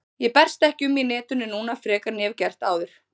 Ég berst ekki um í netinu núna frekar en ég hef áður getað.